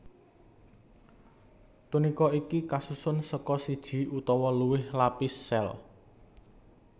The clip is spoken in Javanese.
Tunika iku kasusun saka siji utawa luwih lapis sél